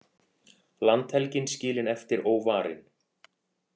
Landhelgin skilin eftir óvarin